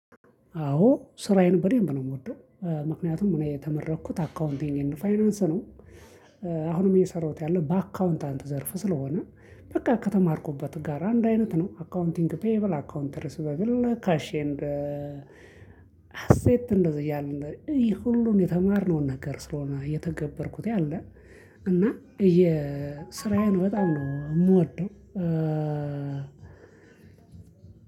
አዎ ስራዬን በደንብ ነው የምወደው። ምክንያቱም እኔ የተመረኩት አካውንቲንግ ኤንድ ፋይናንስ ነው። አሁንም የሰራሁት ያለው በአካውንታንት ዘርፍ ስለሆነ በቃ ከተማርኩበት ጋር አንድ አይነት ነው። አካውንቲንግ ፔየብል አካውንተር ስበግል ካሽ ኤንድ ሃሴት እንደዚህ እያለ እንደዚህ እዩ ሁሉን የተማርነውን ነገር ስለሆነ እየተገበርኩት ያለ። እና የስራዬን በጣም ነው የምወደው።